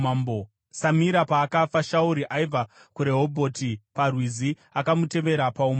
Samira paakafa, Shauri aibva kuRehobhoti parwizi akamutevera paumambo.